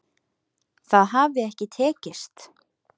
Það hafi ekki tekist